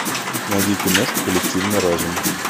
найди киношку коллективный разум